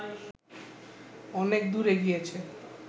অনেক দূর এগিয়েছে